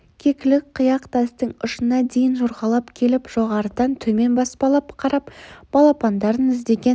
кекілік қияқ тастың ұшына дейін жорғалап келіп жоғарыдан төмен баспалап қарап балапандарын іздеген